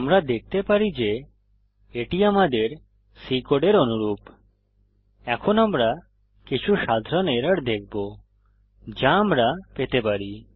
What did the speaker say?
আমরা দেখতে পারি যে এটি আমাদের C কোডের অনুরূপ এখন আমরা কিছু সাধারণ এরর দেখব যা আমরা পেতে পারি